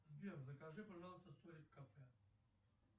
сбер закажи пожалуйста столик в кафе